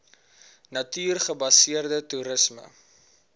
natuur gebaseerde toerisme